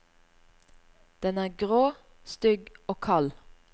Den er grå, stygg og kald.